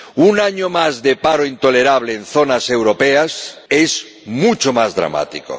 Un año más de paro intolerable en zonas europeas es mucho más dramático.